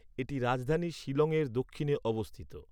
এটি রাজধানী শিলংয়ের দক্ষিণে অবস্থিত।